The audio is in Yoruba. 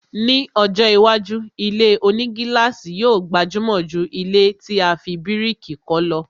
Ni ọjọ́ iwájú, ilé-onígílàsì yóò gbajúmọ̀ jù ilẹ́ tí a fi bíríkì kọ́ lọ